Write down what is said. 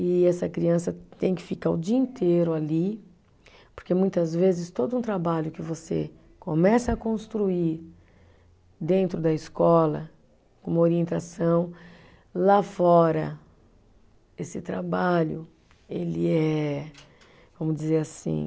E essa criança tem que ficar o dia inteiro ali, porque muitas vezes todo um trabalho que você começa a construir dentro da escola, como orientação, lá fora, esse trabalho, ele é, vamos dizer assim